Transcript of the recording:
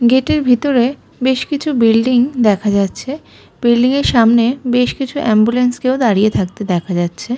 গেটের ভিতরে বেশ কিছু বিল্ডিং দেখা যাচ্ছে বিল্ডিং সামনে বেশ কিছু অ্যাম্বুলেন্স কেউ দাঁড়িয়ে থাকতে দেখা যাচ্ছে।